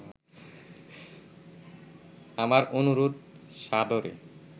আমার অনুরোধ সাদরে